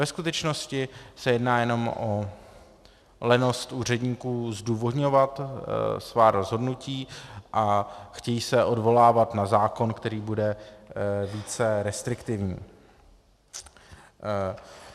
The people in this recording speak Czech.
Ve skutečnosti se jedná jenom o lenost úředníků zdůvodňovat svá rozhodnutí a chtějí se odvolávat na zákon, který bude více restriktivní.